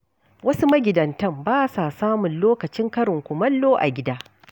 Wasu magidantan ba sa samun lokacin karin kumallo a gida.